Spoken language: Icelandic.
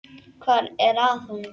Hvað var að honum?